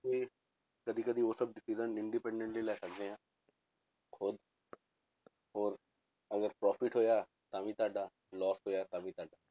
ਤੇ ਕਦੇ ਕਦੇ ਉਹ ਸਭ decision independently ਲੈ ਸਕਦੇ ਹਾਂ ਖੁੱਦ ਔਰ ਅਗਰ profit ਹੋਇਆ ਤਾਂ ਵੀ ਤੁਹਾਡਾ loss ਹੋਇਆ ਤਾਂ ਵੀ ਤੁਹਾਡਾ।